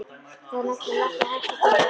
Það er nefnilega ekki hægt að gera það einn.